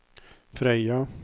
Frøya